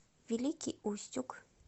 великий устюг